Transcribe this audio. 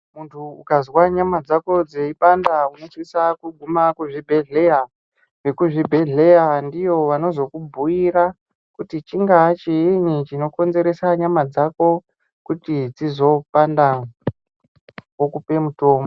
Muntu ukazwa nyama dzako dzeipanda unosisa kuguma kuzvibhedhlera. Vekuzvibhedhlera ndivo vanozokubhuyira kuti chingaachiyini chinokonzeresa nyama dzako, kuti dzizopanda, vokupe mutombo.